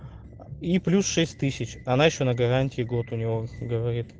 и плюс шесть тысяч она ещё на гарантии год у него говорит